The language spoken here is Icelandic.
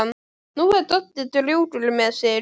Nú er Doddi drjúgur með sig.